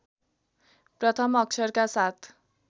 प्रथम अक्षरका साथ